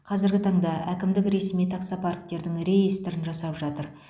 қазіргі таңда әкімдік ресми таксопарктердің реестрін жасап жатыр